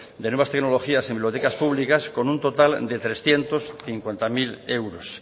de nuevas tecnologías en bibliotecas públicas con un total de trescientos cincuenta mil euros